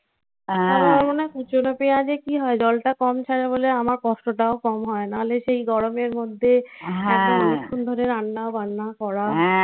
আর কোথাও না কুচোনো পেঁয়াজে কি হয়? জলটা কম ছাড়া বলে আমার কষ্টটাও কম হয়. না হলে সেই গরমের মধ্যে হ্যাঁ. অনেক্ষন ধরে রান্নাবান্না করা. হ্যাঁ.